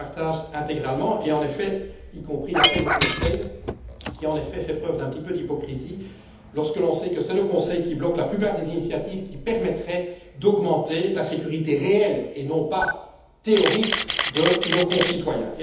Je les partage intégralement, y compris l'appel au Conseil qui, en effet, fait preuve d'un brin d'hypocrisie lorsque l'on sait que c'est lui qui bloque la plupart des initiatives qui permettraient d'augmenter la sécurité réelle, et non pas théorique, de nos concitoyens.